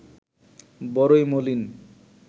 বড়ই মলিন